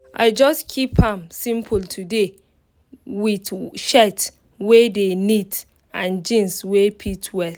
i just keep am simple today with shirt wey dey neat and jeans wey fit well